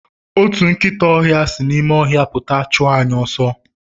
Otu nkịta ọhịa si n'ime ọhịa pụta chụọ anyị ọsọ.